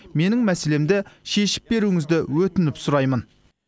менің мәселемді шешіп беруіңізді өтініп сұраймын